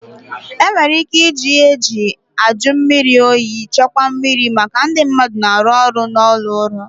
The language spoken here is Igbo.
E nwere ị́ké ịji ịhe eji ajụ mmiri oyi chekwaa mmiri maka ndị mmadụ na-arụ n'ụlọ ọrụ.